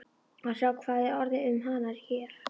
Að sjá hvað er orðið um hana hér.